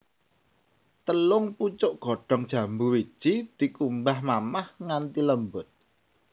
Telung pucuk godhong jambu wiji dikumbah mamah nganthi lembut